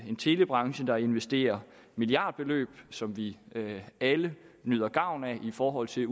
en telebranche der investerer milliardbeløb som vi alle nyder gavn af i forhold til